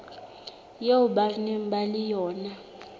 eo ba nang le yona